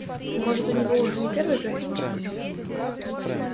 может у него уже не первый графинчик